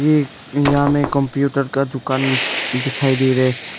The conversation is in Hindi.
ये यहां हमें कंप्यूटर का दुकान दिखाई दी रे।